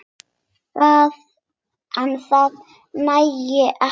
En það nægi ekki til.